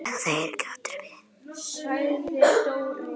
Seglin eru dregin upp.